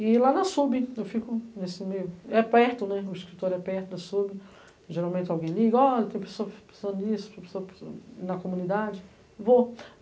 E lá na sub, eu fico nesse meio, é perto, né, o escritório é perto da sub, geralmente alguém liga, olha tem pessoa precisando isso, pessoa precisando na comunidade, vou.